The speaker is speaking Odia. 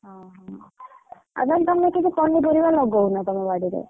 ଅହ! ଆଉ ତାହେଲେ ତମେ ସେଠି ପନିପରିବା ଲଗଉନ ତମ ବାଡିରେ?